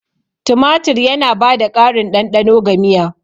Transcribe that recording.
Tumatir yana ba da ƙarin ɗanɗano ga miya.